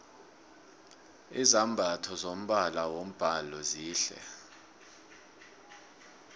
izambatho zombala wombhalo zihle